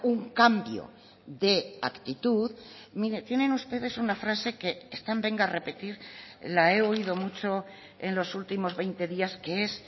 un cambio de actitud mire tienen ustedes una frase que están venga a repetir la he oído mucho en los últimos veinte días que es